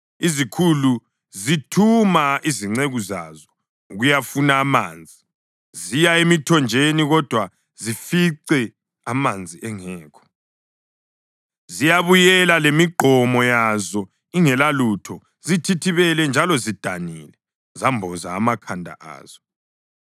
Izikhulu zithuma izinceku zazo ukuyafuna amanzi; ziya emithonjeni kodwa zifice amanzi engekho. Ziyabuyela lemigqomo yazo ingelalutho; zithithibele njalo zidanile, zemboze amakhanda azo.